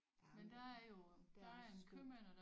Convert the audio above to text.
Jamen der er også skønt